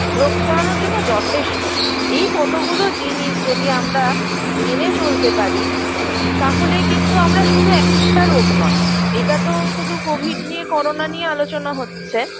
রোগ ছড়ানোর জন্য যথেষ্ট এই কতগুলো জিনিস যদি আমরা মেনে চলতে পারি উ তাহলেই কিন্তু আমরা শুধু একটা রোগ নয় এটাতো শুধু covid নিয়ে করোনা নিয়ে আলোচনা হচ্ছে